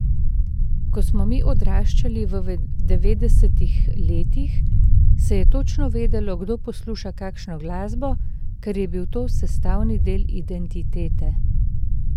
Ko smo mi odraščali v devetdesetih letih, se je točno vedelo, kdo posluša kakšno glasbo, ker je bil to sestavni del identitete.